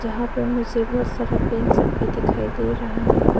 यहां पर मुझे बहुत सारा पेन सब भी दिखाई दे रहा हैं।